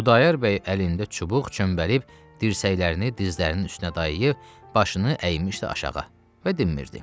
Xudayar bəy əlində çubuq çömbəlib, dirsəklərini dizlərinin üstünə dayayıb, başını əymişdi aşağı və demirdi.